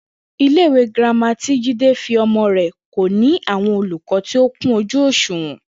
Ilé ìwé girama tí Jídé fi o̩mo̩ rè̩ kò ní àwo̩n olùkó̩ tí ó kún ojú òs̩ùwò̩n